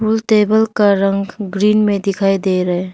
Table का रंग green में दिखाई दे रहे है।